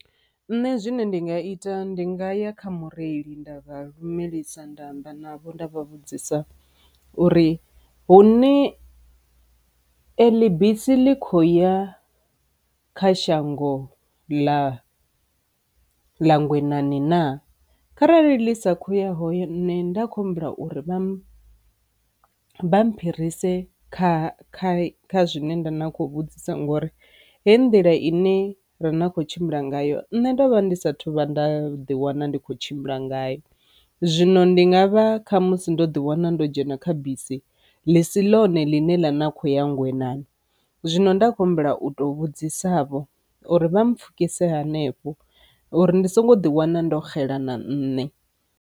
Nṋe zwine ndi nga ita ndi nga ya kha mureili nda vha lumelisa nda amba navho nda vha vhudzisa uri hune eḽi bisi ḽi kho ya kha shango ḽa ḽa Ngwenani na, kharali ḽi sa khoya hone nda kho humbula uri vha phirise kha kha kha zwine nda na kho vhudzisa ngori hei nḓila ine ra na kho tshimbila ngayo. Nṋe ndovha ndi sathu vhuya nda ḓi wana ndi kho tshimbila ngayo. Zwino ndi nga vha kha musi ndo ḓi wana ndo dzhena kha bisi ḽi si ḽone ḽine ḽa na kho ya Ngwenani, zwino nda khou humbela u to vhudzisa vho uri vha mu pfhukisa vho uri ndi songo ḓi wana ndo xela na nne.